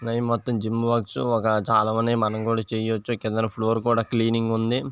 ఇది మొత్తం జిమ్ కావచ్చు చాలా మంది మనం కూడా చూడవచ్చు కింద ఫ్లోర్ క్లీన్ గ ఉన్నది.